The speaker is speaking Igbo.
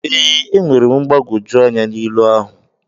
Ee, enwere m mgbagwoju anya na ilu ahụ.